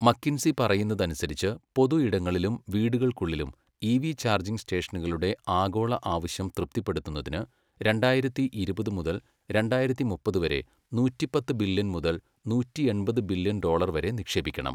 McKinsey പറയുന്നതനുസരിച്ച്, പൊതു ഇടങ്ങളിലും വീടുകൾക്കുള്ളിലും ഇവി ചാർജിംഗ് സ്റ്റേഷനുകളുടെ ആഗോള ആവശ്യം തൃപ്തിപ്പെടുത്തുന്നതിന് രണ്ടായിരത്തി ഇരുപത് മുതല് രണ്ടായിരത്തി മുപ്പത് വരെ നൂറ്റിപ്പത്ത് ബില്യൺ മുതൽ നൂറ്റിയെണ്പത് ബില്യൺ ഡോളർ വരെ നിക്ഷേപിക്കണം.